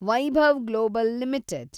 Vaibhav global limited